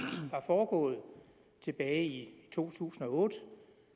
var foregået tilbage i to tusind og otte